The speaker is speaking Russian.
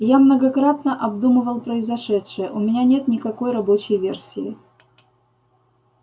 я многократно обдумывал произошедшее у меня нет никакой рабочей версии